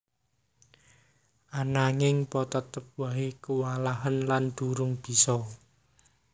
Ananging Po tetep wae kuwalahen lan durung bisa